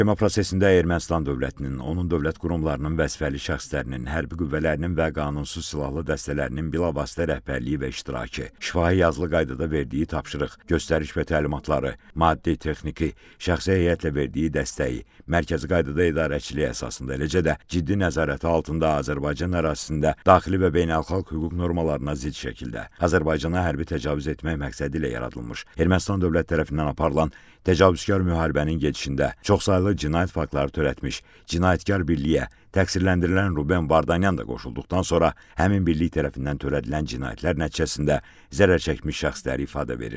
Məhkəmə prosesində Ermənistan dövlətinin, onun dövlət qurumlarının vəzifəli şəxslərinin, hərbi qüvvələrinin və qanunsuz silahlı dəstələrinin bilavasitə rəhbərliyi və iştirakı, şifahi-yazılı qaydada verdiyi tapşırıq, göstəriş və təlimatları, maddi-texniki, şəxsi heyətlə verdiyi dəstəyi, mərkəzi qaydada idarəçiliyi əsasında, eləcə də ciddi nəzarəti altında Azərbaycan ərazisində daxili və beynəlxalq hüquq normalarına zidd şəkildə Azərbaycana hərbi təcavüz etmək məqsədi ilə yaradılmış Ermənistan dövlət tərəfindən aparılan təcavüzkar müharibənin gedişində çoxsaylı cinayət faktları törətmiş cinayətkar birliyə təqsirləndirilən Ruben Vardanyan da qoşulduqdan sonra həmin birlik tərəfindən törədilən cinayətlər nəticəsində zərərçəkmiş şəxslər ifadə verir.